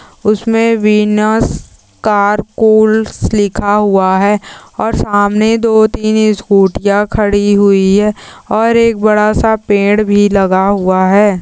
उसमे Venus car calls लिखा हुआ है। और सामने दो _तीन स्कूटी या खड़ी हुई है। और एक बड़ा सा पेड़ लगा हुआ है।